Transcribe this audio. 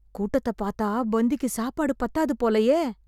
கூட்டத்த பார்த்தா பந்திக்கு சாப்பாடு பத்தாது போலயே!